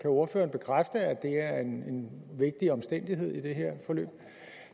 ordføreren bekræfte at det er en vigtig omstændighed i det her forløb